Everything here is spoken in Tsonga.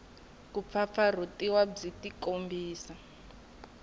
ku pfapfarhutiwa byi tikombisa hi